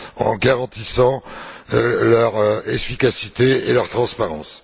en garantissant leur efficacité et leur transparence.